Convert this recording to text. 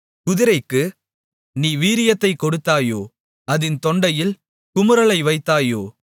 குதிரைக்கு நீ வீரியத்தைக் கொடுத்தாயோ அதின் தொண்டையில் குமுறலை வைத்தாயோ